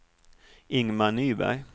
Ingmar Nyberg